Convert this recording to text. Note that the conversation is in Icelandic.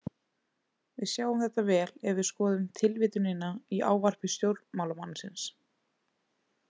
Við sjáum þetta vel ef við skoðum tilvitnunina í ávarp stjórnmálamannsins.